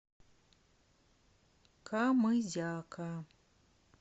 камызяка